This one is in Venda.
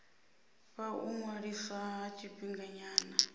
fha u ṅwaliswa ha tshifhinganyana